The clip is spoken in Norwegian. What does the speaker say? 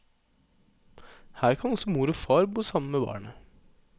Her kan også mor og far bo sammen med barnet.